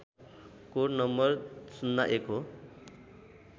code नं ०१ हो